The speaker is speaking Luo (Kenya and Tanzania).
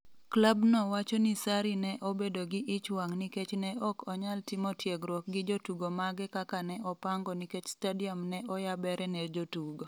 Klabno wacho ni Sarri ne obedo gi ich wang' nikech "ne ok onyal timo tiegruok gi jotugo mage kaka ne opango" nikech stadium ne oyabere ne jotugo.